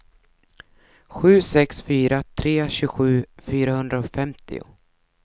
sju sex fyra tre tjugosju fyrahundrafemtio